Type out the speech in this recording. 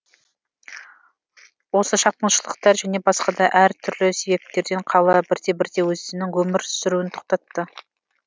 осы шапқыншылықтар және басқа да әр түрлі себептерден қала бірте бірте өзінің өмір сүруін тоқтатты